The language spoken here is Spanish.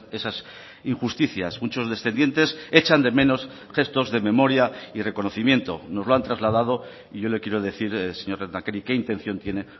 esas injusticias muchos descendientes echan de menos gestos de memoria y reconocimiento nos lo han trasladado y yo le quiero decir señor lehendakari qué intención tiene